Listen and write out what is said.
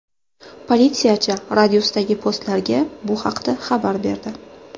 Politsiyachi radiusdagi postlarga bu haqda xabar berdi.